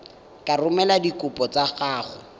ka romela dikopo tsa gago